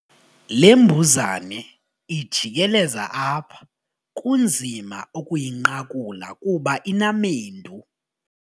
Le mbuzane ijikeleza apha kunzima ukuyinqakula kuba inamendu.